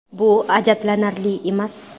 Bu ajablanarli emas.